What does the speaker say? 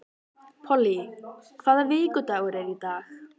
Polly, hvaða vikudagur er í dag?